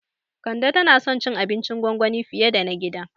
Kande tana son cin abincin gwangwani fiye da na gida